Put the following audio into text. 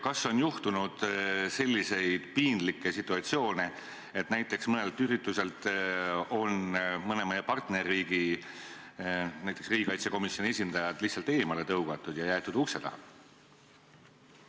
Kas on juhtunud näiteks selliseid piinlikke situatsioone, et mõne meie partnerriigi riigikaitsekomisjoni esindajad on mõnelt ürituselt lihtsalt eemale tõugatud ja jäetud ukse taha?